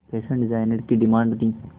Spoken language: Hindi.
फैशन डिजाइनर की डिमांड थी